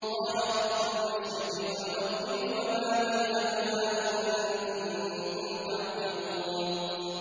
قَالَ رَبُّ الْمَشْرِقِ وَالْمَغْرِبِ وَمَا بَيْنَهُمَا ۖ إِن كُنتُمْ تَعْقِلُونَ